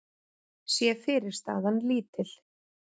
sé fyrirstaðan lítil.